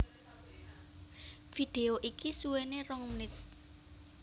Vidéo iki suwéné rong menit